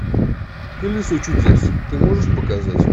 колесо чудес ты можешь показать